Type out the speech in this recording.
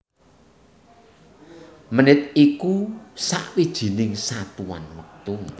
Menit iku sawijining satuan wektu